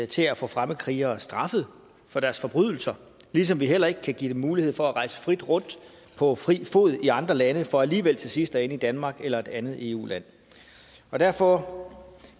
til at få fremmedkrigere straffet for deres forbrydelser ligesom vi heller ikke kan give dem mulighed for at rejse frit rundt på fri fod i andre lande for alligevel til sidst at ende i danmark eller et andet eu land og derfor